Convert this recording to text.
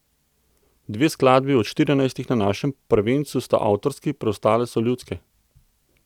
Dve skladbi od štirinajstih na našem prvencu sta avtorski, preostale so ljudske.